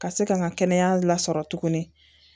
Ka se ka n ka kɛnɛya lasɔrɔ tuguni